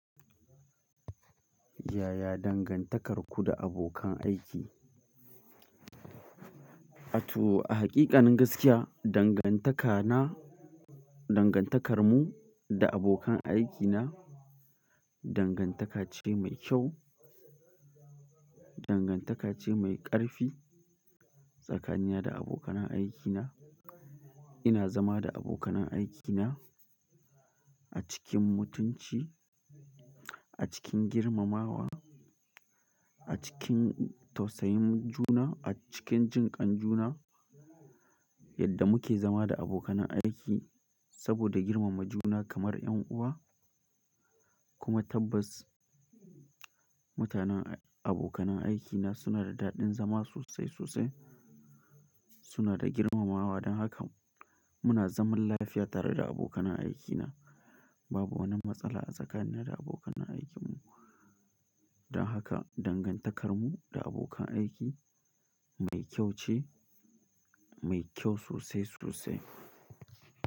Yaya dangantakarku da abokan aiki? A to a hakikanin gaskiya, dangantaka na, dangantakar mu da abokan aikina dangantaka ce mai kyau. Dangantaka ce mai ƙarfi tsakanina da abokanan aikina. Ina zama da abokanan aikina a cikin mutunci, a cikin girmamawa, a cikin tausayin juna, a cikin jinƙan juna yadda muke zama da abokanan aiki saboda girmama juna kamar ƴan uwa kuma tabbas mutanen, abokanan aikina suna da daɗin zama sosai sosai. Suna da girmamawa don haka muna zaman lafiya tare da abokanan aikina. Babu wani matsala tsakanina da abokanan aikinmu. Don haka dangantakar mu da abokan aiki mai kyau ce, mai kyau sosai sosai.